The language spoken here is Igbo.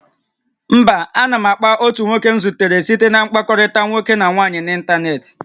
Mba, a na m akpa otu nwoke m zutere site na mkpakọrịta nwoke na nwaanyị n'ịntanetị